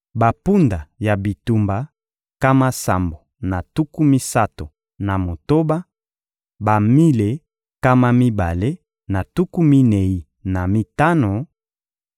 bampunda ya bitumba, nkama sambo na tuku misato na motoba; bamile nkama mibale na tuku minei na mitano;